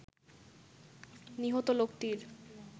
নিহত লোকটির